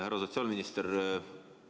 Härra sotsiaalminister!